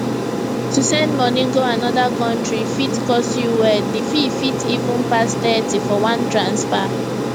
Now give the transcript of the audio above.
to send moni go another country fit cost you well d fee fit even pass thirty for one transfer